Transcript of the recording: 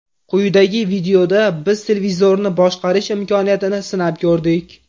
Quyidagi videoda biz televizorni boshqarish imkoniyatini sinab ko‘rdik.